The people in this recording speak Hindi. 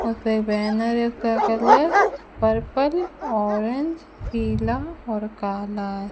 वहां पे बैनर का कलर पर्पल ऑरेंज पीला और काला --